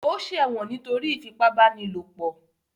Ó ṣẹ̀wọ̀n nítorí ìfipábánilòpọ̀?